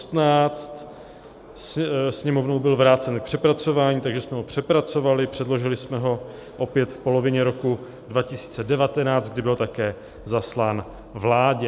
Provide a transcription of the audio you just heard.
Sněmovnou byl vrácen k přepracování, takže jsme ho přepracovali, předložili jsme ho opět v polovině roku 2019, kdy byl také zaslán vládě.